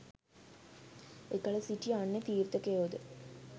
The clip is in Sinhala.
එකල සිටි අන්‍ය තීර්ථකයෝද